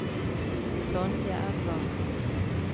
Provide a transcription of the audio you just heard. Tonje Edvardsen